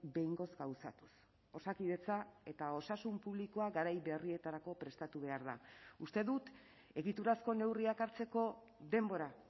behingoz gauzatuz osakidetza eta osasun publikoa garai berrietarako prestatu behar da uste dut egiturazko neurriak hartzeko denbora